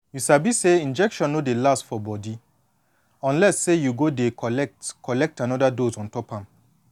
you sabi say injection no dey last for body unless say you go dey collect collect anoda dose ontop am